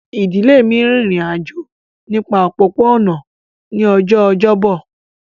Ìdílé mi rin ìrìn àjò nípa òpópó-ọ̀nà ní ọjọ́ ọjọ́bọ̀